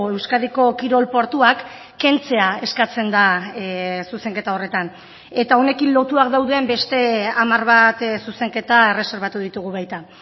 euskadiko kirol portuak kentzea eskatzen da zuzenketa horretan eta honekin lotuak dauden beste hamar bat zuzenketa erreserbatu ditugu baita